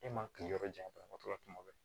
E ma kiliyan jantora tuma bɛɛ